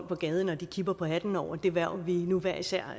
på gaden og de kippede med hatten over det hverv vi nu hver især